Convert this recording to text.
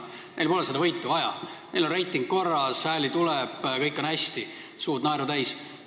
Keskerakonnal pole seda võitu vaja, neil on reiting korras, hääli tuleb, kõik on hästi, näod naeru täis.